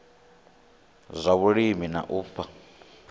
zwa vhulimi na u fha